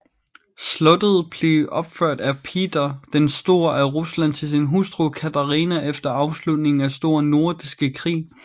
Slottet blev opført af Peter den Store af Rusland til sin hustru Katarina efter afslutningen af Store Nordiske Krig